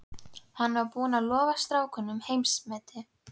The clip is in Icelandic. Hann var búinn að lofa strákunum heimsmeti.